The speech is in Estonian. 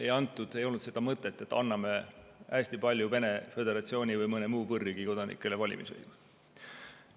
Ei antud, ei olnud seda mõtet, et anname hästi paljudele Vene föderatsiooni või mõne muu võõrriigi kodanikele valimisõiguse.